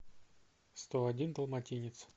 сто один далматинец